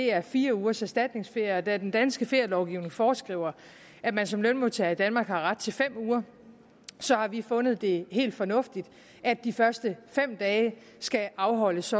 er fire ugers erstatningsferie og da den danske ferielovgivning foreskriver at man som lønmodtager i danmark har ret til fem uger har vi fundet det helt fornuftigt at de første fem dage skal afholdes